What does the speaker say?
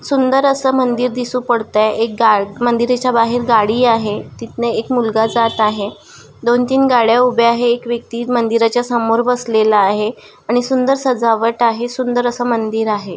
सुंदर अस मंदिर दिसू पडतय एक गा मंदिराच बाहेर एक गाडी आहे तिथंन एक मुलगा जात आहे दोन तीन गाड्या उभ्या आहे एक व्यक्ति मंदिर च्या समोर बसलेला आहे आणि सुंदर सजावट आहे सुंदर अस मंदिर आहे.